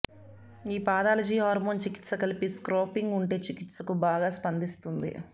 ఈ pathology hormone చికిత్స కలిపి స్క్రాపింగ్ ఉంటే చికిత్సకు బాగా స్పందిస్తుంది